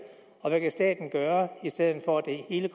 og hvad staten kan gøre i stedet for at det hele